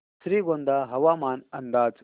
श्रीगोंदा हवामान अंदाज